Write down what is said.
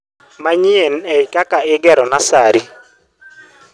manyien ei kaka igero nuser